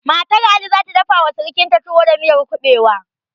Matar ali zata dafa wa sirikanta tuwo da miyar kuɓewa